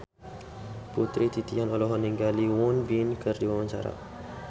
Putri Titian olohok ningali Won Bin keur diwawancara